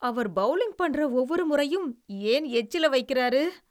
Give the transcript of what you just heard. அவர் bowling பன்ற ஒவ்வொரு முறையும் ஏன் எச்சில வைக்கிறாரு?